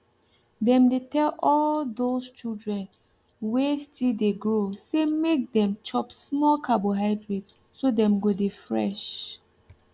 dem dey tell all thosse children wen still de grow say make dem chop small carbohydrate so dem go dey fresh